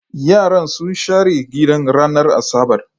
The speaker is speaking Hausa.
Yaran sun share gidan ranar Asabar